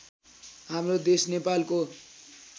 हाम्रो देश नेपालको